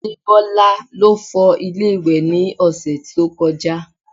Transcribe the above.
Adebola ló fọ ilé ìwẹ̀ ní ọ̀sẹ̀ tó kọjá